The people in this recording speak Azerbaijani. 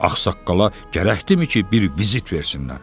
Ağsaqqala gərəkdimi ki, bir vizit versinlər?